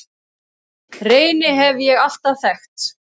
Reyni hef ég alltaf þekkt.